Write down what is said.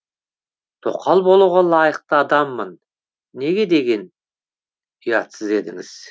тоқал болуға лайықты адаммын не деген ұятсыз едіңіз